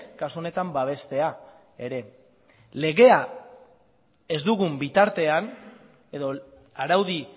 kasu honetan babestea ere legea ez dugun bitartean edo araudi